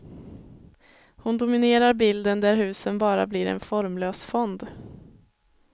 Hon dominerar bilden där husen bara blir en formlös fond.